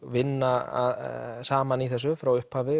vinna saman í þessu frá upphafi